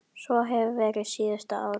Svo hefur verið síðustu ár.